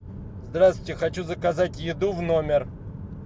здравствуйте хочу заказать еду в номер